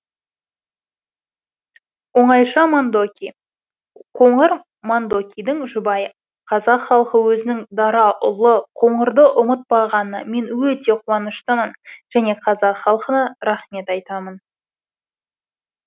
оңайша мандоки қоңыр мандокидің жұбайы қазақ халқы өзінің дара ұлы қоңырды ұмытпағанына мен өте қуаныштымын және қазақ халқына рахмет айтамын